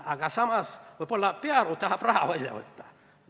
Aga samas võib-olla Pearu tahab raha välja võtta.